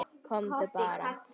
Komdu bara.